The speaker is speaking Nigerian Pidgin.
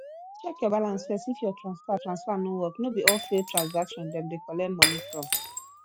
check your balance first if your transfer transfer no work no be all failed transaction dem de collect moni from